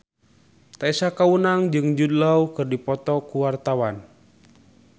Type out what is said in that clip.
Tessa Kaunang jeung Jude Law keur dipoto ku wartawan